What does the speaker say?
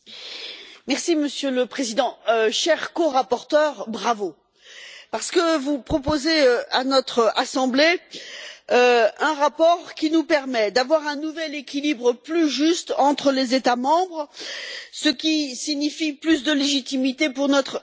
Monsieur le Président, chers corapporteurs, bravo, parce que vous proposez à notre Assemblée un rapport qui nous permet d'avoir un nouvel équilibre plus juste entre les États membres, ce qui signifie plus de légitimité pour notre institution.